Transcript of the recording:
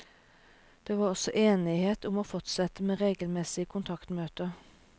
Det var også enighet om å fortsette med regelmessige kontaktmøter.